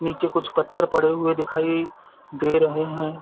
नीचे कुछ पत्थर पड़े हुए दिखाई दे रहे है।